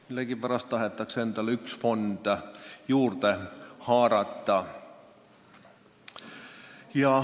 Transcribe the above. Millegipärast tahetakse endale üks fond juurde haarata.